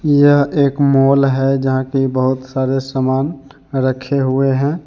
यह एक मॉल है जहां की बहुत सारे सामान रखे हुए हैं।